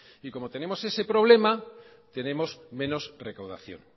y como tenemos ese problema tenemos menos recaudación